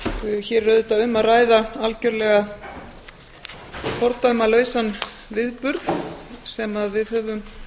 hér er auðvitað um að ræða algjörlega fordæmalausan viðburð sem við höfum